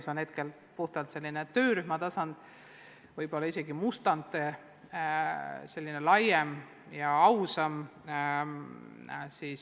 See on hetkel puhtalt töörühma tasandil olev nn mustand.